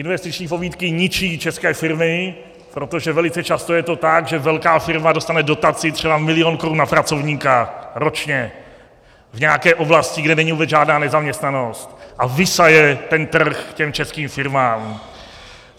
Investiční pobídky ničí české firmy, protože velice často je to tak, že velká firma dostane dotaci třeba milion korun na pracovníka ročně v nějaké oblasti, kde není vůbec žádná nezaměstnanost, a vysaje ten trh těm českým firmám.